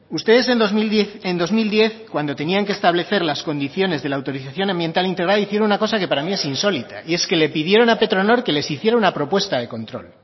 ustedes en dos mil diez cuando tenían que establecer las condiciones de la autorización ambiental integrada hicieron una cosa que para mí es insólita y es que le pidieron a petronor que les hiciera una propuesta de control